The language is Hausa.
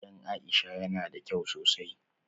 Gidan Aisha yana da kyau sosai.